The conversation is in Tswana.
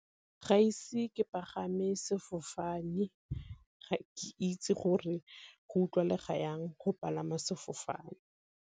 Gaise ke pagame sefofane, ga ke itse gore go utlwalega jang go palama sefofane.